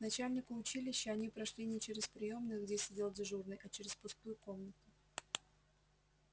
к начальнику училища они прошли не через приёмную где сидел дежурный а через пустую комнату